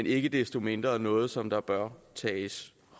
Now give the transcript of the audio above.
ikke desto mindre noget som der bør tages